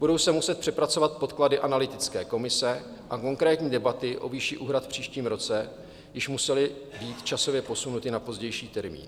Budou se muset přepracovat podklady analytické komise a konkrétní debaty o výši úhrad v příštím roce již musely být časově posunuty na pozdější termín.